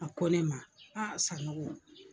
A ko ne ma Sanogo